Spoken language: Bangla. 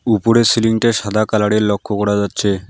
উপরের সিলিংটা সাদা কালারের লক্ষ করা যাচ্ছে।